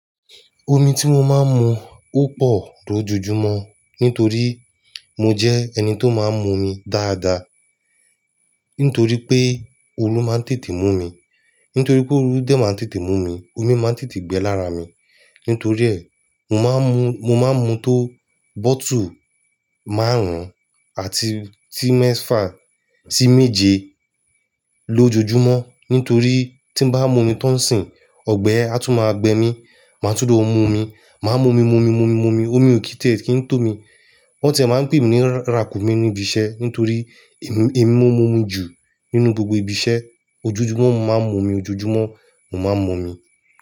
Omi tí mo máa ń mu ó pọ̀ lójoojúmọ́ nítorí mo jẹ́ ẹni tó máa ń mu omi dáadáa. Nítorí pé ooru máa ń tètè mú mi, nítorí pé ooru dẹ máa ń tètè mú mi, omi máa ń tètè gbẹ lara mi. Nítorí ẹ, mo máa ń mu, mo máa ń mu tó bottle márùn-ún àti tí mẹ́fà sí méje lójoojúmọ́. Nítorí tí m bá mu omi tán sìn, ọgbẹ́ á tún máa gbẹ mí, màá túndò mu omi. Màá mu omi, mu omi, mu omi, mu omi, omi ò kì í tiè kí ń tó mi. Won tiẹ̀ máa ń pè mi ní ràkúnmí níbiṣẹ́ nítorí èmi, èmi mó mu ju nínú gbogbo ibi iṣẹ́. Ojojúmọ́ mo máa ń mu omi, ojoojúmọ́ mo máa ń mu omi.